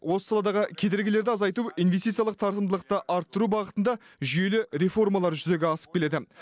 осы саладағы кедергілерді азайту инвестициялық тартымдылықты арттыру бағытында жүйелі реформалар жүзеге асып келеді